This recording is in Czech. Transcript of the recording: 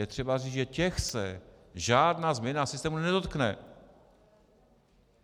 Je třeba říct, že těch se žádná změna systému nedotkne.